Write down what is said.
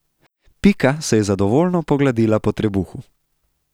Pika se je zadovoljno pogladila po trebuhu.